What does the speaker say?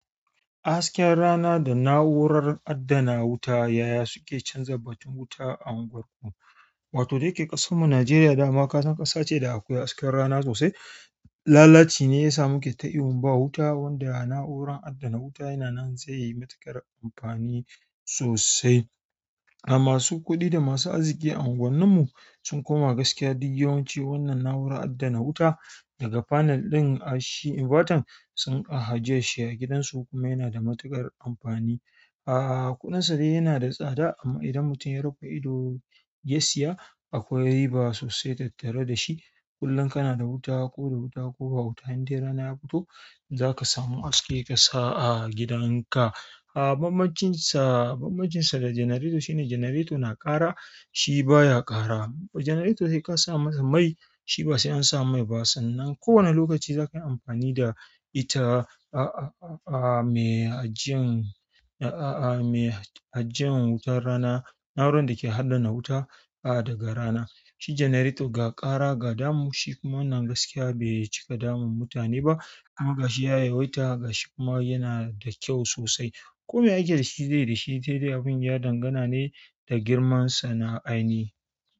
Hasken rana da na'urar adana wuta, yaya suke canza batun wuta a unguwarku? Wato dayake ƙasarmu nijeriya, daman kasan kasace da akwai hasken rana sosai, lalacine yasa muke ta ihun ba wuta, wanda na'urar addans wuta yana nan zaiyi matuƙar amfani sosai a masu kuɗi da masu arziki a unguwannin mu sun koma gaskiya duk yawanci wannan na'urar adana wuta daga panel ɗin hashi inverter sun ka ajiyashi a gidansu kuma yana da matuƙar amfani. Aaa, kuɗinsa dai yana da tsada amma idan mutum ya rufe ido ya siya akwai riba sosai tattare da shi. Kullum kana da wuta ko da wuta, ko ba wuta, inda rana ya fito za ka samu haske ƙasa a gidan ka. A bam bamcinsa, bambancinsa da generator shine generator na ƙara shi baya ƙara. Generator sai ka sa masa mai, shi ba sai an sa mai ba sannan kowane lokaci zakayi amfani da ita. Aaa, me ajiyan, aaa, me ajiyan wutar rana, na'urar da ke adana wuta a daga rana. Shi generator ga ƙara ga damu shi kuma wannan gaskiya bai cika damun mutane ba. Amma ga shi ya yawaita ga shi kuma yana da kyau sosai. Komai ake dashi zai dashi saidai abun ya dangana ne da girman sana'a.